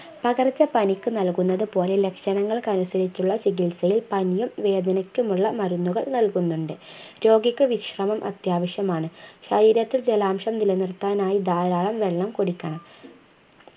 പകർച്ചപനിക്ക് നൽകുന്നതു പോലെ ലക്ഷണങ്ങൾക്കനുസരിച്ചുള്ള ചികിത്സയിൽ പനിയും വേദനയ്ക്കുമുള്ള മരുന്നുകൾ നൽകുന്നുണ്ട് രോഗിക്ക് വിശ്രമം അത്യാവശ്യമാണ് ശരീരത്തിൽ ജലാംശം നിലനിർത്താനായി ധാരാളം വെള്ളം കുടിക്കണം